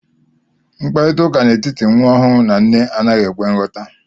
Mkparịta ụka n'etiti nwa ọhụrụ na nne anaghi ekwe nghota